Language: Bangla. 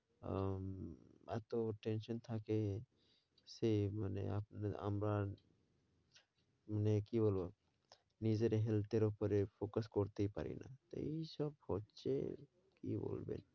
উম এত tension থাকে সেই মানে আপনার আম্বান~ মানে কী বলব, নিজের health এর ওপরে focus করতেই পারিনা। এইসব হচ্ছে কী বলবেন।